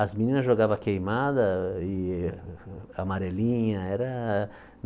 As meninas jogava queimada e amarelinha. Era